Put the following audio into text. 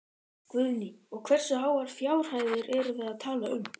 Guðný: Og hversu háar fjárhæðir erum við að tala um?